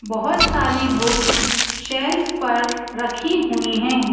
बहुत सारी books shelf पर रखी हुई हैं।